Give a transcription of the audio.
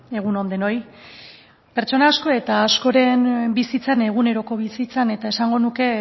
egun on denoi pertsona asko eta askoren bizitzan eguneroko bizitzan eta esango nuke